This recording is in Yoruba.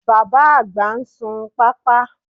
Bàbá-àgbà ń sun pápá